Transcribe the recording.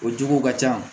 O jugu ka ca